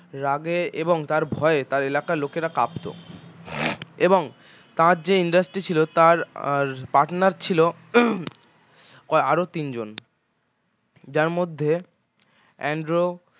রাগে এবং তার ভয়ে তাঁর এলাকার লোকেরা কাঁপত এবং তার যে industry ছিল তাঁর আহ partner ছিল আরও তিন জন যার মধ্যে অ্যান্ড্র